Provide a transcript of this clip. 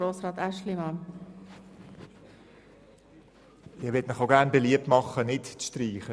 Auch ich möchte Ihnen beliebt machen, hier keine Streichung vorzunehmen.